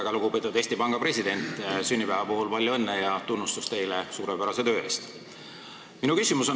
Väga lugupeetud Eesti Panga president, sünnipäeva puhul palju õnne ja tunnustus teile suurepärase töö eest!